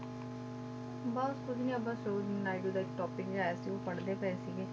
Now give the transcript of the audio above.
ਬਸ ਉਹੀ ਆ ਬਸ ਉਹੀ ਨਾਇਡੂ ਦਾ topic ਜਿਹਾ ਆਇਆ ਸੀ ਉਹ ਪੜ੍ਹਦੇ ਪਏ ਸੀਗੇ